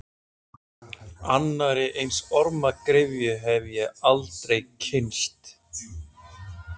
Annarri eins ormagryfju hef ég aldrei kynnst.